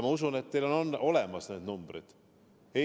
Ma usun, et teil on need numbrid olemas.